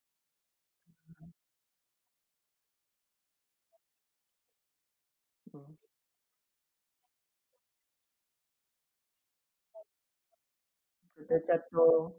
आणि cold water तर आपण म्हणजे fridge मध्ये store करूच शिकतो त्याच्या नंतर ice making चा पण खुप सारे modes तुम्हाला देतील ते वेगवेगळे shape चे